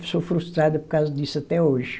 Sou frustrada por causa disso até hoje.